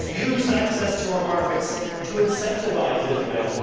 We must use access to our markets to incentivise Israel.